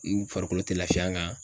I farikolo te lafiya n kan.